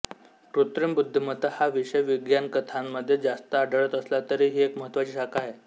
कृत्रिम बुद्धिमत्ता हा विषय विज्ञानकथांमध्ये जास्त आढळत असला तरी ही एक महत्त्वाची शाखा आहे